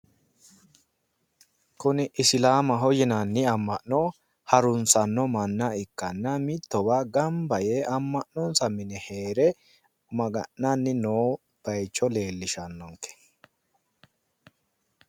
Kuni isilaamaho yinanni amma'no harunsanno manna ikkanna mittowa gamba yee amma'nonsa mine heere maga'nanni noo bayicho leellishannonke.